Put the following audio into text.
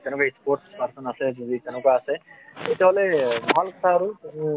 তেনেকুৱা sports person আছে যদি তেনেকুৱা আছে তেনেহলে